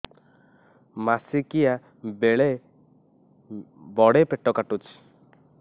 ମାସିକିଆ ବେଳେ ବଡେ ପେଟ କାଟୁଚି